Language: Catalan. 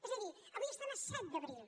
és a dir avui estem a set d’abril